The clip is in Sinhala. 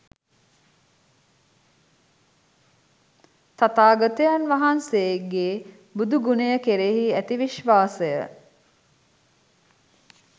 තථාගතයන් වහන්සේගේ බුදුගුණය කෙරෙහි ඇති විශ්වාසය